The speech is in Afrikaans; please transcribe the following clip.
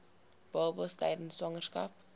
babas tydens swangerskap